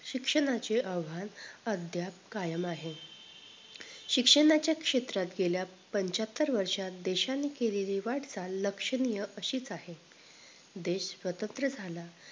शिक्षणाचे आव्हान अध्याप कायम आहे शिक्षणाचे क्षेत्रात गेल्या पंच्याहत्तर वर्षात देशांनी केलेली वाटचाल लक्षणीय अशीच आह देश स्वतंत्र झाला